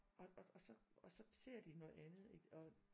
Og og så og så ser de noget andet ikke og